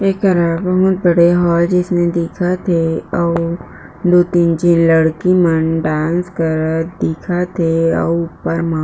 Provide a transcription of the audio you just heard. एकर आघू म पड़े होय रीहीसे जइसे दिखत हे अउ लु तीन झीन लड़की मन डांस करत दिखत हे अउ ऊपर म--